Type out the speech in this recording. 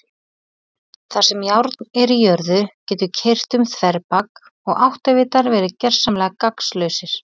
Þar sem járn er í jörðu getur keyrt um þverbak og áttavitar verið gersamlega gagnslausir.